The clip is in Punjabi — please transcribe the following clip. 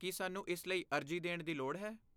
ਕੀ ਸਾਨੂੰ ਇਸ ਲਈ ਅਰਜ਼ੀ ਦੇਣ ਦੀ ਲੋੜ ਹੈ?